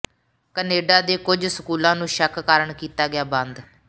Canada ਦੇ ਕੁੱਝ ਸਕੂਲਾਂ ਨੂੰ ਸ਼ੱਕ ਕਾਰਨ ਕੀਤਾ ਗਿਆ ਬੰਦ